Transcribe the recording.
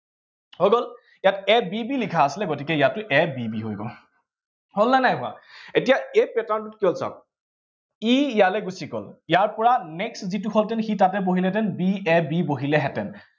হৈ গল? ইয়াত a b b লিখা আছিলে, গতিকে ইয়াতো a b b হৈ গল। হল নে নাই হোৱা, এতিয়া এই pattern টো কিহত চাম। ই ইয়ালে গুচি গল, ইয়াৰ পৰা next যিটো হলহেঁতেন সি তাতে বহিলেহেঁতেন b a b বহিলেহেঁতেন।